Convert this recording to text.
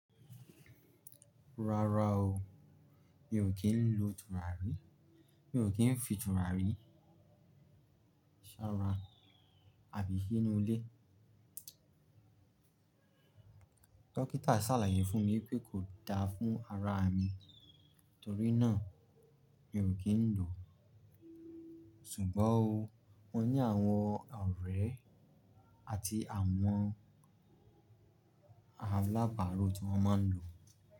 Rárá o, mi ò kí ń lo tùràrí, mi ò kí ń fi tùràrí ṣara àbí siinu lé. Dọ́kítà sàlàyé fún mi pé kò da fún ara mi torí náà mi ò kí ń lò. Ṣùgbọ́n o, wọ́n ní àwọn ọ̀rẹ́ àti àwọn alábàro tí wọ́n máa ń lò.